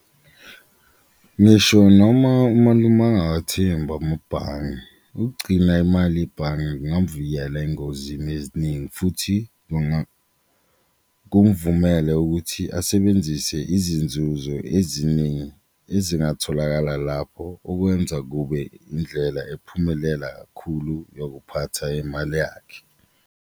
Ngisho noma umalume angawathembi amabhange ukugcina imali ebhange kungavikela engozini eziningi futhi kumuvumele ukuthi asebenzise izinzuzo eziningi ezingatholakala lapho okwenza kube indlela ephumelela kakhulu yokuphatha imali yakhe.